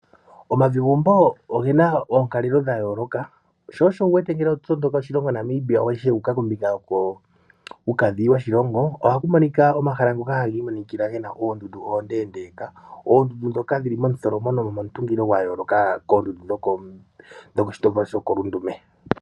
Omavigumbo ogena oonkalelo dha yooloka, sho osho wuwete ngele oho ende oshilongo Namibia wu uka kombinga yokuukadhi woshilongo ohaku monoka omahala ngoka hagi imonikila gena oondundu oondendeka. Oondundu ndhoka dhili momutholomo no momutungilo gwa yooloka koondundu dho koshitolwa shokolundume.